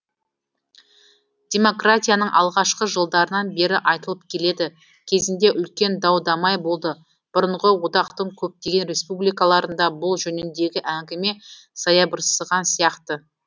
демократияның алғашқы жылдарынан бері айтылып келеді кезінде үлкен дау дамай болды бұрынғы одақтың көптеген республикаларында бұл жөніндегі әңгіме саябырсыған сияқты